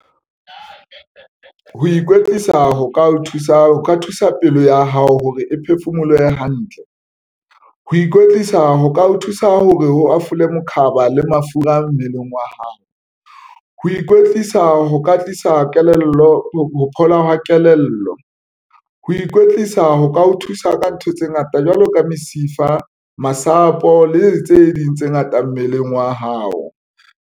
Ho ikwetlisa ho ka o thusa ho ka thusa pelo ya hao hore e phefumolohe hantle. Ho ikwetlisa ho ka o thusa hore hafole mokhaba le mafura mmeleng wa hae. Ho ikwetlisa ho ka tlisa kelello phola hwa kelello. Ho ikwetlisa ho ka o thusa ka ntho tse ngata jwalo ka mesifa masapo le tse ding tse ngata mmeleng wa hao.